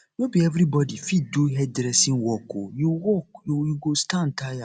no be everybodi fit do hairdressing work o you work o you go stand tire